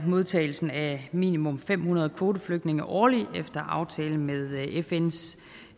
modtagelsen af minimum fem hundrede kvoteflygtninge årligt efter aftale med fns